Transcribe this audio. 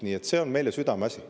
Nii et see on meile südameasi.